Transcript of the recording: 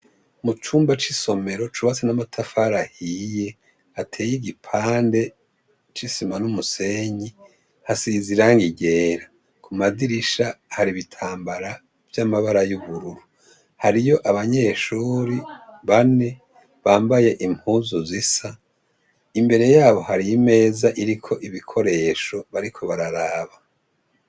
Mucumba c'isomero cubatse n'amatafari ahiye hateye igipande c'isima n'umusenyi hasize irangi ryera, kumadirisha hari ibitambarara vyamabara y'ubururu, hariyo abanyeshure bane bambaye impuzu zisa imbere yabo hari imeza iriko ibikoresho bariko bararaba.